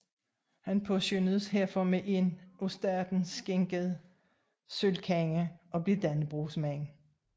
Han påskønnedes herfor med en af staten skænket sølvkande og blev Dannebrogsmand